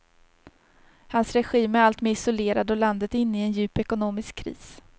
Hans regim är alltmer isolerad och landet är inne i en djup ekonomisk kris.